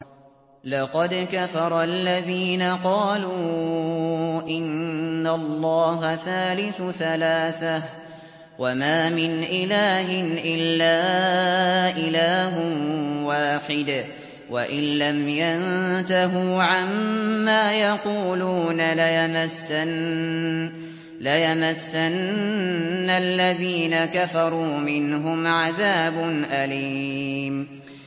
لَّقَدْ كَفَرَ الَّذِينَ قَالُوا إِنَّ اللَّهَ ثَالِثُ ثَلَاثَةٍ ۘ وَمَا مِنْ إِلَٰهٍ إِلَّا إِلَٰهٌ وَاحِدٌ ۚ وَإِن لَّمْ يَنتَهُوا عَمَّا يَقُولُونَ لَيَمَسَّنَّ الَّذِينَ كَفَرُوا مِنْهُمْ عَذَابٌ أَلِيمٌ